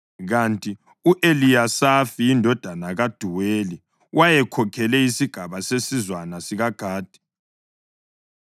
kanti u-Eliyasafi indodana kaDuweli wayekhokhele isigaba sesizwana sikaGadi.